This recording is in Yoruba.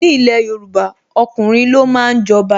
Ni ilẹ̀ Yorùbá, ọkùnrin lo máa ń jọba.